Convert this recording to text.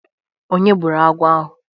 Onye gbụrụ agwọ ahụ?